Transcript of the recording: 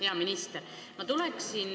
Hea minister!